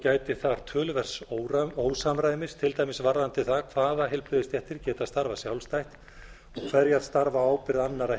úrelt og gætir þar talsverðs ósamræmis til dæmis varðandi það hvaða heilbrigðisstéttir geta starfað sjálfstætt og hverjar starfa á ábyrgð annarrar